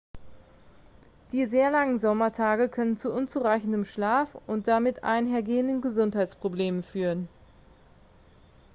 die sehr langen sommertage können zu unzureichendem schlaf und damit einhergehenden gesundheitsproblemen führen